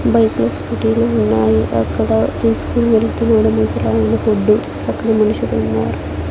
బైకులు స్కూటీలు ఉన్నాయి అక్కడ తీసుకొని వెళ్తున్నాడు ముసలాయన ఫుడ్డు అక్కడ మనుషులు ఉన్నారు.